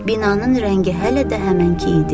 Binanın rəngi hələ də həmənki idi.